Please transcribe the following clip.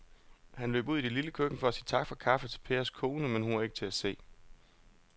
Han løb ud i det lille køkken for at sige tak for kaffe til Pers kone, men hun var ikke til at se.